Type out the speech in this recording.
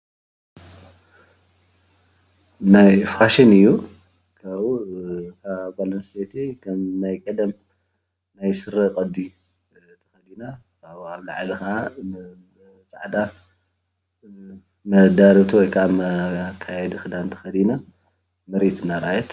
ናይ ፋሽን እዩ ። ካብኡ እታ ጓል ኣንስተይቲ ከም ናይ ቀደም ናይስረ ቅዲ ተከዲና ናይ ላዕሊ ከዓ ፃዕዳ መዳርብቲ ወይከዓ መካየዲ ክዳን ተከዲና መሬት እናረኣየት